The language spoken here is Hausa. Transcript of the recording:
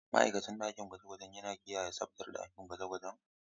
Ma'aikacin ɗakin gwaje-gwaje yana kiyaye tsabtar ɗakunan gwaje-gwaje.